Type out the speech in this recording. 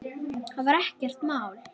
Það var ekkert mál.